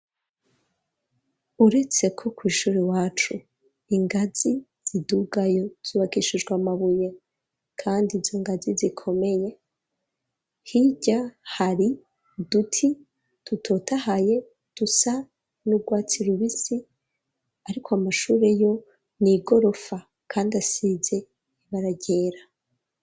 Uretse ko, kw’ishuri iwacu, ingazi zidugayo, zubakishijwe amabuye, kandi izo ngazi, zikomeye; hirya hari uduti dutotahaye, dusa n'urwatsi rubisi; ariko amashuri yo, ni igorofa, kandi asize ibara ryera.